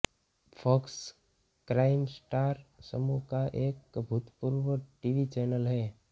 fox Crime Star समूह का एक भूतपूर्व टीवी चैनल है